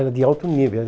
Era de alto nível.